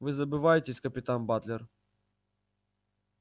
вы забываетесь капитан батлер